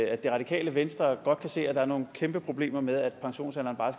at det radikale venstre godt kan se at der er nogle kæmpe problemer med at pensionsalderen